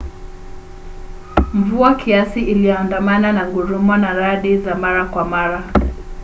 mvua kiasi iliandamana na ngurumo na radi za mara kwa mara